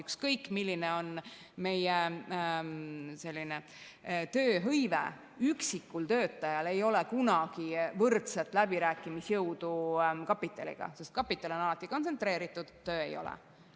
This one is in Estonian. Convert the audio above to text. Ükskõik milline on meie tööhõive, üksikul töötajal ei ole kunagi kapitaliga võrdset läbirääkimisjõudu, sest kapital on alati kontsentreeritud, töö ei ole.